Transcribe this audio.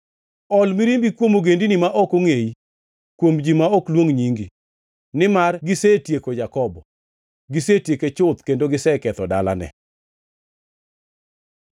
Ol mirimbi kuom ogendini ma ok ongʼeyi, kuom ji ma ok luong nyingi. Nimar gisetieko Jakobo; gisetieke chuth kendo giseketho dalane.